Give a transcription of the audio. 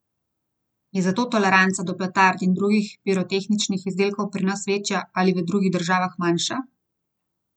Je zato toleranca do petard in drugih pirotehničnih izdelkov pri nas večja ali v drugih državah manjša?